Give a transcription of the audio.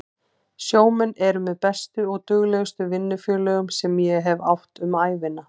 Sjómenn eru með bestu og duglegustu vinnufélögum sem ég hef átt um ævina.